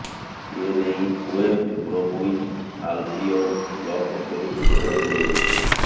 ଏନେଇ West Bromwich Albion club ପକ୍ଷରୁ ସୂଚନା ଦିଆଯାଇଛି